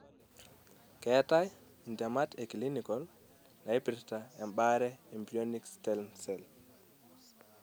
keetai intemat e clinical naipirta emaare embryonic stem cell.